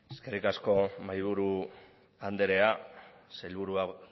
eskerrik asko mahaiburu andrea sailburuak